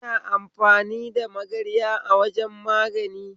Kina amfani da magarya a wajan magani?